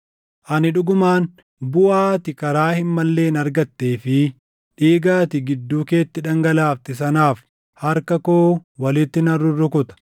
“ ‘Ani dhugumaan buʼaa ati karaa hin malleen argattee fi dhiiga ati gidduu keetti dhangalaafte sanaaf harka koo walitti nan rurrukuta.